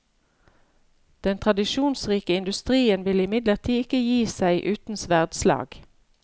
Den tradisjonsrike industrien vil imidlertid ikke gi seg uten sverdslag.